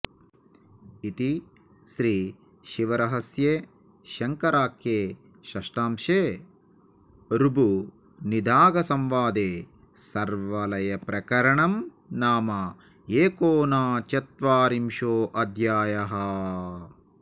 इति श्रीशिवरहस्ये शङ्कराख्ये षष्ठांशे ऋभुनिदाघसंवादे सर्वलयप्रकरणं नाम एकोनचत्वारिंशोऽध्यायः